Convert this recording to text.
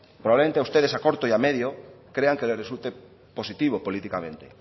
probablemente a ustedes a corto y medio crean que les resulte positivo políticamente